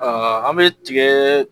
an bɛ tigɛ